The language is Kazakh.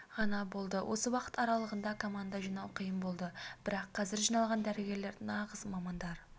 ғана болды осы уақыт аралығында команда жинау қиын болды бірақ қазір жиналған дәрігерлер нағыз мамандар